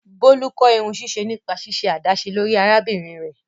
Bolu kọ irunsiṣe nipa ṣiṣe adaṣe lori arabinrin rẹ.